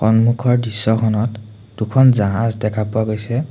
সন্মুখৰ দৃশ্যখনত দুখন জাহাজ দেখা পোৱা গৈছে।